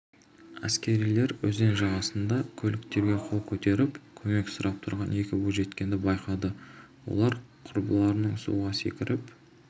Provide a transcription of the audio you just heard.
әскерилер өзен жағасында көліктерге қол көтеріп көмек сұрап түрған екі бойжеткенді байқайды олар құрбыларының суға секіріп